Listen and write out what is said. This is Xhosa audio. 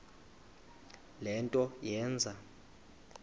le nto yenze